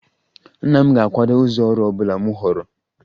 Nna m ga-akwado ụzọ ọrụ ọ bụla m họọrọ